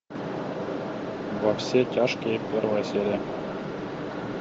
во все тяжкие первая серия